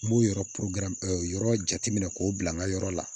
N b'o yɔrɔ yɔrɔ jateminɛ k'o bila n ka yɔrɔ la